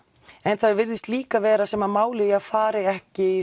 en það virðist líka vera sem málið fari ekki